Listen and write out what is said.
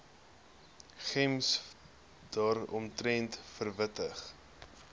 gems daaromtrent verwittig